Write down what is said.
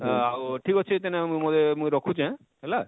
ଆଉ ଆଉ ଠିକ ଅଛେ ତନେ ମୁଇ ମୁଇ ରଖୁଛେ,